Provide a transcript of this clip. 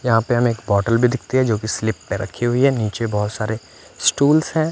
यहाँ पे हम एक बॉटल भी दिखती है जोकि स्लिप पे रखी हुई है नीचे बहोत सारे स्टुल्स हैं।